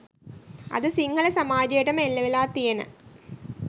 අද සිංහල සමාජයටම එල්ලවෙලා තියෙන